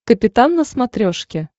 капитан на смотрешке